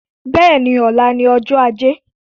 Bẹ́ẹ̀ni, ọ̀la ni ọjọ́ ajé